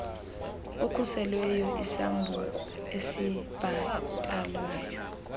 okhuselweyo isambuku esibhatalwayo